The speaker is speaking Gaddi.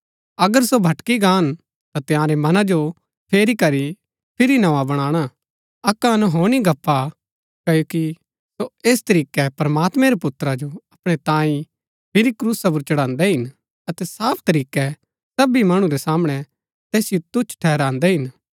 अगर सो भटकी गाहन ता तंयारै मनां जो फेरी करी फिरी नोआ बणाणा अक्क अनहोनी गप्‍प हा क्ओकि सो ऐस तरीकै प्रमात्मैं रै पुत्रा जो अपणै तांई फिरी क्रूसा पुर चढ़ान्दै हिन अतै साफ तरीकै सबी मणु रै सामणै तैसिओ तुच्छ ठहरान्दै हिन